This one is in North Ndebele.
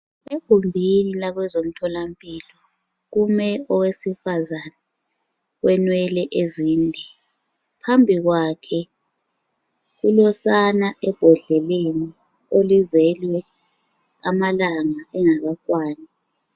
Egumbini lakwezemtholampilo kume owesifazana olenwele ezinde, phambikwakhe kulosana ebhodleleni oluzelwe amalanga engakakwani.